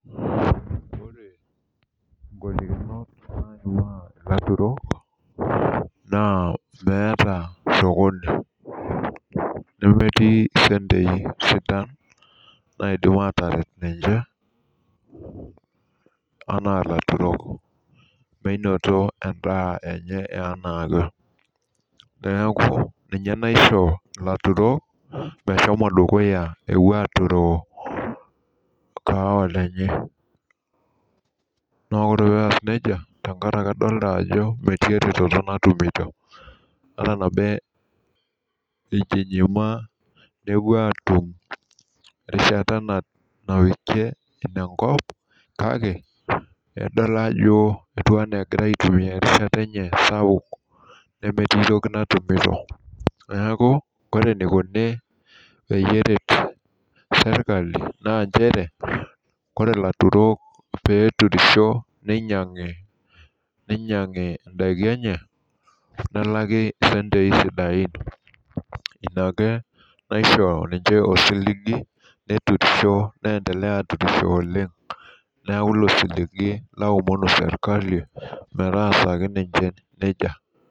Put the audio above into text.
Ore nkoitoi naoriwaa ilaturol, naa meeta sokoni. nemetii isentiik sidan, naidim aataret ninche anaa ilaturol, menot edaa enye anaake. neeku ninye naisho ilaturol meshomo dukuya epuo aturoo kaawa enye. naa ore pee eas nejia tenkaraki idolta Ajo metii eretoto natumito. ejumaa nepuo aatum erishata napikie kake idol ajo egira aitumia erishata enye sapuk, nemetii toki natumito. neeku, ore enikoni peyie eret sirkali, naa nchere ore ilaturol pee eturisho ninyiangu. idaiki enye, nelaaki sentii sidain. inake, naisho ninche osilgi. neturisho. neendelea aturisho oleng. neeku ilo osigi naomon sirkali metaasaki ninche nejia.